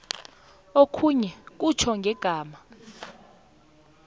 okhunye kutjho ngegama